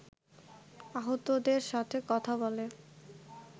আহতদের সাথে কথা বলে